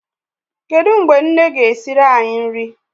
Kedụ mgbe nne ga-esiri anyị nri?